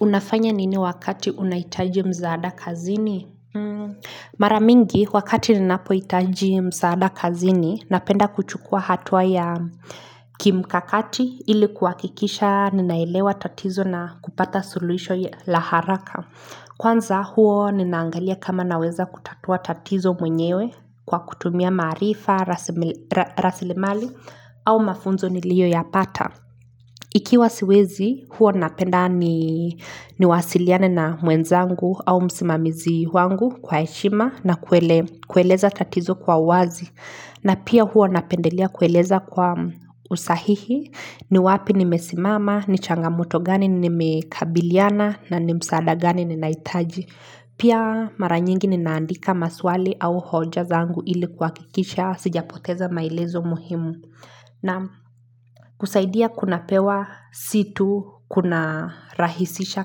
Unafanya nini wakati unahitaji msaada kazini? Mara mingi wakati ninapohitaji msaada kazini napenda kuchukua hatua ya kimkakati ili kuhakikisha ninaelewa tatizo na kupata suluhisho la haraka. Kwanza huwa ninaangalia kama naweza kutatua tatizo mwenyewe kwa kutumia maarifa, rasilimali au mafunzo niliyoyapata. Ikiwa siwezi huwa napenda niwasiliane na mwenzangu au msimamizi wangu kwa heshima na kueleza tatizo kwa uwazi. Na pia huwa napendelea kueleza kwa usahihi ni wapi nimesimama, ni changamoto gani nimekabiliana na ni msaada gani ninahitaji. Pia mara nyingi ninaandika maswali au hoja zangu ili kuhakikisha sijapoteza maelezo muhimu. Na kusaidia kunapewa si tu kunarahisisha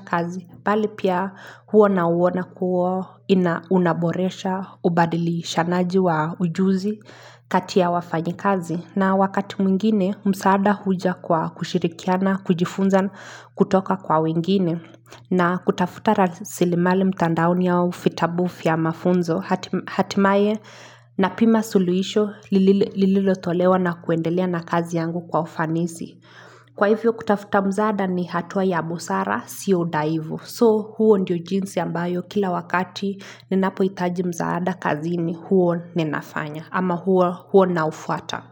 kazi, bali pia huo nauona kuwa unaboresha, ubadilishanaji wa ujuzi kati ya wafanyikazi. Na wakati mwingine, msaada huja kwa kushirikiana, kujifunza kutoka kwa wengine. Na kutafuta rasilimali mtandaoni au vitabu vya mafunzo, hatimaye napima suluhisho lililotolewa na kuendelea na kazi yangu kwa ufanisi. Kwa hivyo kutafuta msaada ni hatua ya busara sio udhaifu. So huu ndio jinsi ambayo kila wakati ninapohitaji msaada kazini huwa ninafanya ama huwa naufuata.